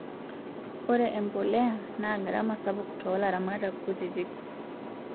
Ore emboleya naa gharama sapuk too laramatak kutiti